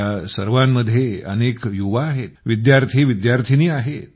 या सर्वांमध्ये अनेक युवा आहेत विद्यार्थी विद्यार्थिनी आहेत